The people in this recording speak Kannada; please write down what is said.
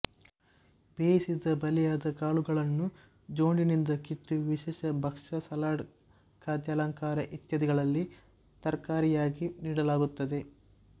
ಬೇಯಿಸಿದ ಬಲಿಯದ ಕಾಳುಗಳನ್ನು ಜೊಂಡಿನಿಂದ ಕಿತ್ತು ವಿಶೇಷ ಭಕ್ಷ ಸಲಾಡ್ ಖಾದ್ಯಾಲಂಕಾರ ಇತ್ಯಾದಿಗಳಲ್ಲಿ ತರಕಾರಿಯಾಗಿ ನೀಡಲಾಗುತ್ತದೆ